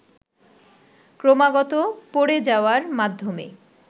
ক্রমাগত পড়ে যাওয়ার মাধ্যমে